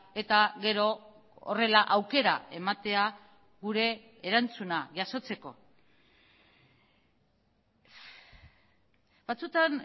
eta gero horrela aukera ematea gure erantzuna jasotzeko batzutan